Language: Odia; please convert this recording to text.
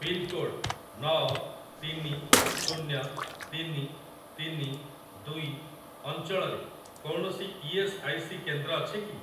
ପିନ୍‌କୋଡ଼୍‌ ନଅ ତିନି ଶୁନ୍ୟ ତିନି ତିନି ଦୁଇ ଅଞ୍ଚଳରେ କୌଣସି ଇ.ଏସ୍. ଆଇ. ସି. କେନ୍ଦ୍ର ଅଛି କି?